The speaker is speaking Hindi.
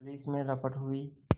पुलिस में रपट हुई